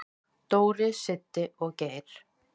"""Dóri, Siddi og Geir."""